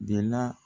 De la